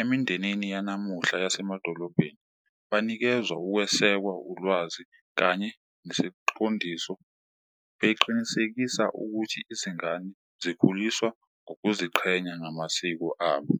emindenini yanamuhla yasemadolobheni, banikezwa ukwesekwa, ulwazi kanye nesiqondiso beqinisekisa ukuthi izingane zikhuliswa ngokuziqhenya ngamasiko abo.